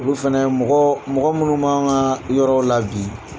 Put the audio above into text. Olu fɛnɛ mɔgɔɔ mɔgɔ munnu b'an ŋaa yɔrɔ la bi